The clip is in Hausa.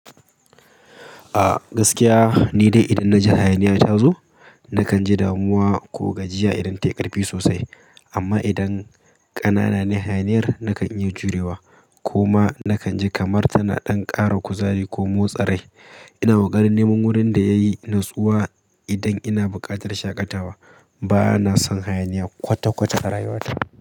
Gaskiya ni dai idan na ji hayaniya ta zo, na kan ji damuwa ko gajiya idan ta yi ƙarfi sosai. Amma idan ƙanana ne hayaniyar na kan iya jurewa ko ma na kan ji kamar tana ɗan ƙara kuzari ko motsa rai. Ina koƙarin neman wurin da ya yi natsuwa idan ina buƙatar shaƙatawa. Ba na son hayaniya kwata-kwata a rayuwata.